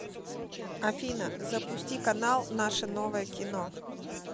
афина запусти канал наше новое кино